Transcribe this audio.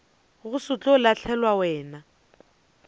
go se tlo lahlelwa wena